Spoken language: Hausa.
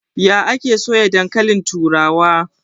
Ya ake soya dankalin turawa?